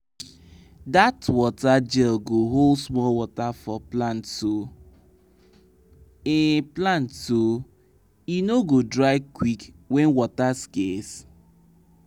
dat water gel go hold small water for plant so e plant so e no go dry quick when water scarce.